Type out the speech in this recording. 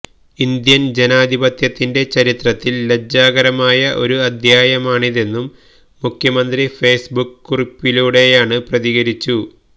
Indian ജനാധിപത്യത്തിന്റെ ചരിത്രത്തില് ലജ്ജാകരമായ ഒരു അധ്യായമാണിതെന്നും മുഖ്യമന്ത്രി ഫേസ്ബുക്ക് കുറിപ്പിലൂടെയാണ് പ്രതികരിച്ചു